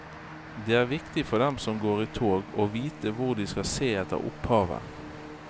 Det er viktig for dem som går i tog å vite hvor de skal se etter opphavet.